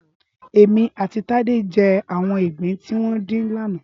Émí àtí Tade jè áwòn igbín tiwòn din làná